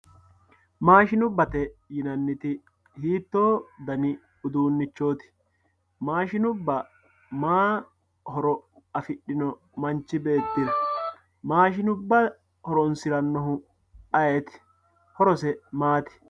maashinubbate yinanniti hiitoo dani uduunichooti maashinubba maayi horo afidhino manch beettira maashinubba horonsirannohu ayiiti horose maati